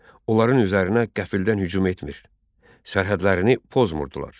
Onların üzərinə qəfildən hücum etmir, sərhədlərini pozmurdular.